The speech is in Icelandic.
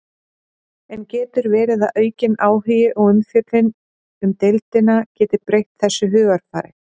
En getur verið að aukin áhugi og umfjöllun um deildina geti breytt þessu hugarfari?